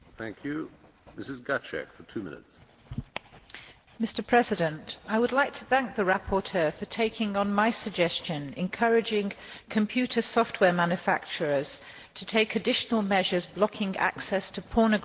Mr President, I would like to thank the rapporteur for taking on my suggestion, encouraging computer software manufacturers to take additional measures blocking access to pornographic and violent websites.